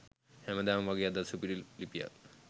හැමදාම වගේ අදත් සුපිරි ලිපියක්